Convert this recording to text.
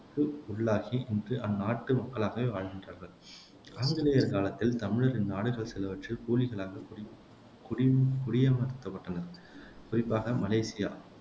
கு உள்ளாகி இன்று அந்நாட்டு மக்களாகவே வாழ்கின்றார்கள் ஆங்கிலேயர் காலத்தில் தமிழர் இந்நாடுகள் சிலவற்றில் கூலிகளாகக் குடி குடி குடியமர்த்தப்பட்டனர் குறிப்பாக மலேசியா